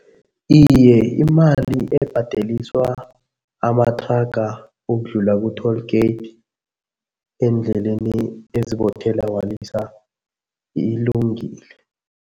Iye, imali ebhadeliswa amathraga ukudlula ku-toll gate eendleleni ezibothela walisa ilungile.